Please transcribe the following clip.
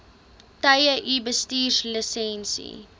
tye u bestuurslisensie